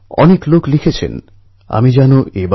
অনেক ছাত্র কলেজে জয়েন করেছে অনেকে জয়েন করবে